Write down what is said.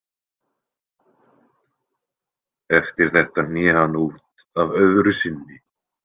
Eftir þetta hné hann út af öðru sinni.